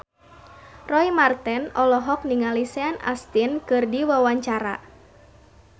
Roy Marten olohok ningali Sean Astin keur diwawancara